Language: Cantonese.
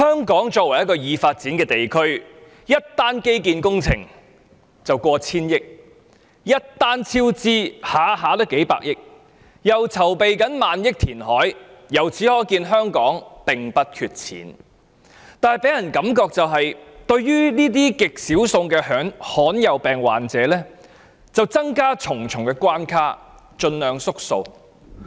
代理主席，香港作為一個已發展的地區，一項基建工程動輒過千億元，工程超支也動輒數百億元，現時又正在籌備萬億元填海，可見香港並不缺錢，但香港予人的感覺是，它對於這些極少數的罕見疾病患者卻增設重重關卡，盡量縮數。